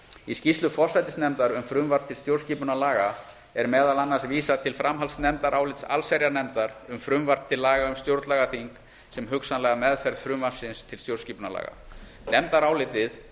í skýrslu forsætisnefndar um frumvarp til stjórnarskipunarlaga er meðal annars vísað til framhaldsnefndarálits allsherjarnefndar um frumvarp til laga um stjórnlagaþing um hugsanlega meðferð frumvarps til stjórnarskipunarlaga nefndarálitið